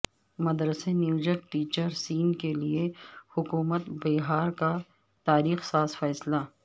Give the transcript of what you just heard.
مدرسہ نیوجت ٹیچر س کے لئے حکومت بہار کا تاریخ ساز فیصلہ